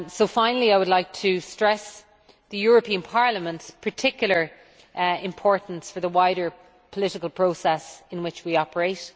Finally, I would like to highlight the European Parliament's particular importance for the wider political process in which we operate.